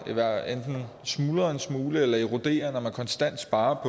enten smuldrer en smule eller eroderer når man konstant sparer